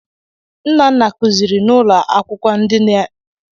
Nna nna kụziri n'ụlọ akwụkwọ ndị dị n'Enugwu.